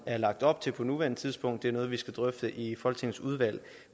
er lagt op til på nuværende tidspunkt det er noget vi skal drøfte i folketingets udvalg